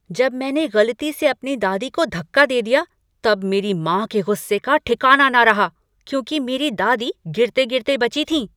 जब मैंने गलती से अपनी दादी को धक्का दे दिया तब मेरी माँ के गुस्से का ठिकाना न रहा क्योंकि मेरी दादी गिरते गिरते बची थीं।